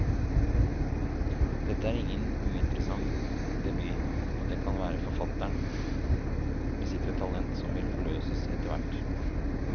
Dette er ingen uinteressant debut, og det kan godt være forfatteren besitter et talent som vil forløses etterhvert.